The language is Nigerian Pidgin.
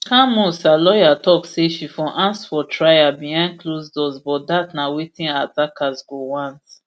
camus her lawyer tok say she for ask for trial behind closed doors but dat na wetin her attackers go want